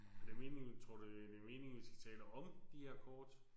Er det meningen tror du det er meningen vi skal tale om de her kort?